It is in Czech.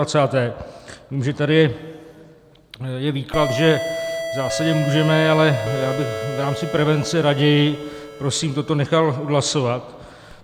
Vím, že tady je výklad, že v zásadě můžeme, ale já bych v rámci prevence raději prosím toto nechal odhlasovat.